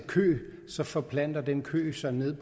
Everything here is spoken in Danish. kø så forplanter den kø sig ned